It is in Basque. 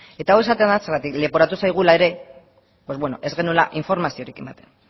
eta hau esaten dut zeren leporatu zaigula ere ez genuela informaziorik ematen